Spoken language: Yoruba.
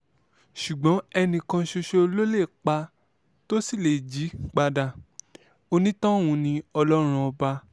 ṣùgbọ́n ẹnì kan ṣoṣo ló lè pa tó sì lè jí padà onítọ̀hún ni ọlọ́run ọba